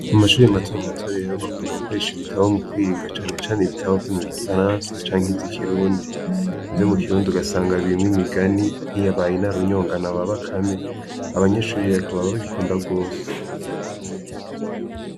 Mu mashuri matamu matorero bakunda gukoresha ibitabo mu kwiringa canecane ibitaba vyo mu gifaransa canke izo ikirundi ivyo mu kirundi ugasanga bimwe migani nkiyabaye na runyongano baba kame abanyeshurirako baba bikunda rwose.